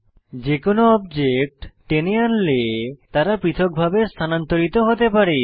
যে কোনো অবজেক্ট টেনে আনলে তারা পৃথকভাবে স্থানান্তরিত হতে পারে